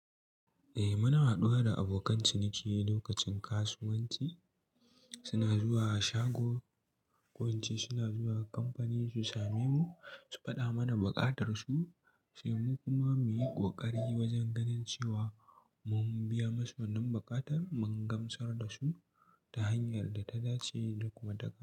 Eh muna haɗuwa da abokan ciniki lokacin kasuwanci, suna zuwa shago ko ince suna zuwa kamfani su same mu, su faɗa mana buƙa tarsu, sai mu kuma muyi ƙoƙari wajen ganin cewa mun biya musu wannan buƙatar, mun gamsar da su ta hanyar da ta dace da kuma ta ƙara.